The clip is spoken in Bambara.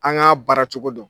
An k'a baara cogo dɔn